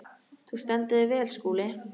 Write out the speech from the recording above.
Þú stendur þig vel, Skúli!